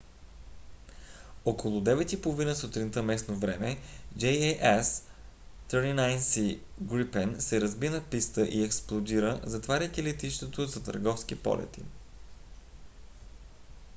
около 9:30 сутринта местно време 0230 utc jas 39c gripen се разби на писта и експлодира затваряйки летището за търговски полети